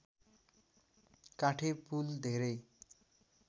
काठे पुल धेरै